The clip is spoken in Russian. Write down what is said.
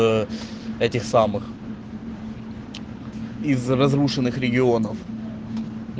ээ этих самых из разрушенных регионов